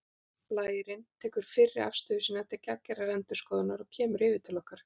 Blærinn tekur fyrri afstöðu sína til gagngerrar endurskoðunar og kemur yfir til okkar